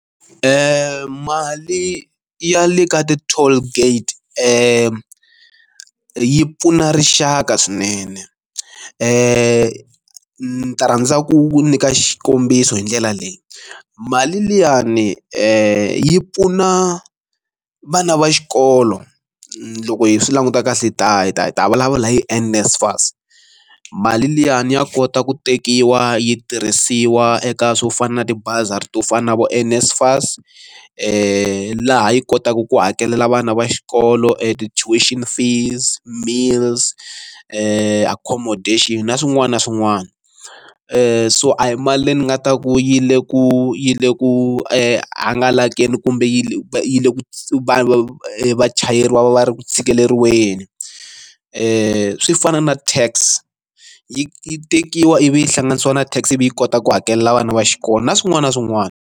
Mali ya le ka ti toll gate yi yi pfuna rixaka swinene leyi ni nga rhandza ku nyika xikombiso hi ndlela leyi mali liyani yi pfuna vana va xikolo loko hi swi languta kahle da hi ta hi ta vulavula hi NSFAS mali liyani ya kota ku tekiwa yi tirhisiwa eka swo fana na tibazari to fana na vo NSFAS laha yi kotaka ku hakelela vana va xikolo a ti tuition fees meals accommodation na swin'wana na swin'wana so a hi mali leyi ni nga ta ku yi le ku yi le ku i hangalakile kumbe yi va yi le ka vanhu vachayeri va va va ri ku tshikeleriwa leswi i swi fana na tax yi yi tekiwa ivi yi hlanganisiwe na tax ivi yi kota ku hakelela vana va xikolo na swin'wana na swin'wana.